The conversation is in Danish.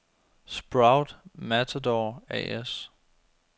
Sprout-Matador A/S